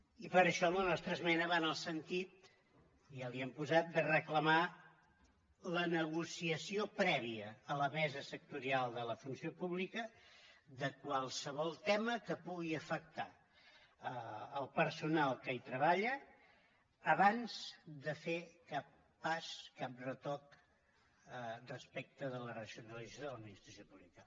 i per això la nostra esmena va en el sentit ja ho hem posat de reclamar la negociació prèvia a la mesa sectorial de la funció pública de qualsevol tema que pugui afectar el personal que hi treballa abans de fer cap pas cap retoc respecte de la racionalització de l’administració pública